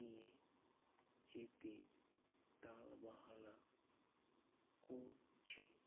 যেতে টালবাহানা করছে